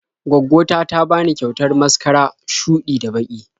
Gwaggo ta ta bani kyautar maskara shuɗi da baƙi.